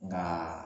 Nka